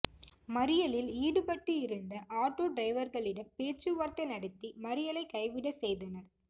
மறியலில் ஈடுபட்டு இருந்த ஆட்டோ டிரைவர்களிடம் பேச்சுவார்த்தை நடத்தி மறியலை கைவிட செய்தனர்